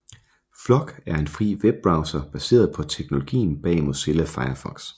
Flock er en fri webbrowser baseret på teknologien bag Mozilla Firefox